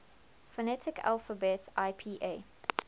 phonetic alphabet ipa